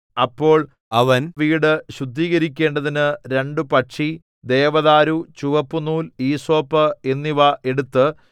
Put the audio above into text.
അപ്പോൾ അവൻ വീടു ശുദ്ധീകരിക്കേണ്ടതിനു രണ്ടു പക്ഷി ദേവദാരു ചുവപ്പുനൂൽ ഈസോപ്പ് എന്നിവ എടുത്ത്